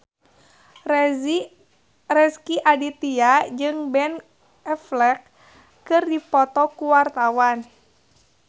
Rezky Aditya jeung Ben Affleck keur dipoto ku wartawan